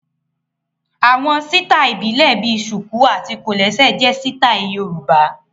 Àwọn sítáì ìbílẹ̀ bíi ṣùkù àti kòlẹ́sẹ̀ jẹ sítáì Yorùbá